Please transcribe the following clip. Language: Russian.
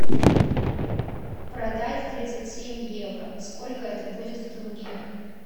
продать тридцать семь евро сколько это будет в тенге